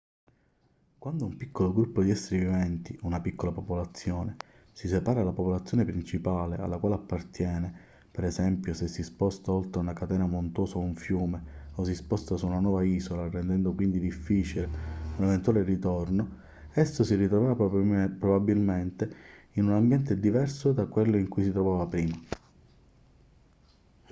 quando un piccolo gruppo di esseri viventi una piccola popolazione si separa dalla popolazione principale alla quale appartiene per esempio se si sposta oltre una catena montuosa o un fiume o si sposta su una nuova isola rendendo quindi difficile un eventuale ritorno esso si ritroverà probabilmente in un ambiente diverso da quello in cui si trovava prima